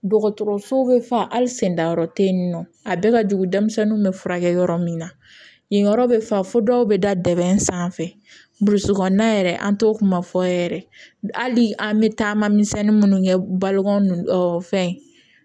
Dɔgɔtɔrɔso bɛ fa hali sen dayɔrɔ tɛ yen nɔ a bɛɛ ka jugu denmisɛnnin bɛ furakɛ yɔrɔ min na yen yɔrɔ bɛ fa fo dɔw bɛ da dɛ sanfɛ burusi kɔnɔna yɛrɛ an t'o kuma fɔ yɛrɛ hali an bɛ taama misɛnnin minnu kɛ balo nn fɛn